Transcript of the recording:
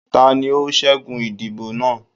tání o ṣẹgun idibo naa?